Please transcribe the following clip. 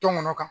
Tɔn ŋɔnɔ kan